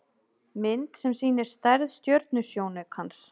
Mynd sem sýnir stærð stjörnusjónaukans.